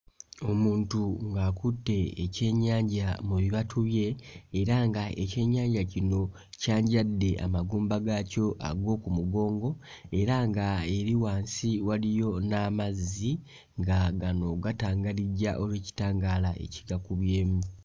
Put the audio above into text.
Omuntu ng'akutte ekyennnyanja mu bibatu bye era nga ekyennyanja kino kyanjadde amagumba gaakyo ag'oku mugongo era nga eri wansi waliyo n'amazzi nga gano gatangalijja olw'ekitangaala ekigakubyemu.